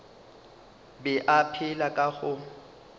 be a phela ka go